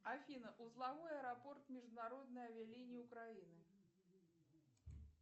афина узловой аэропорт международной авиалинии украины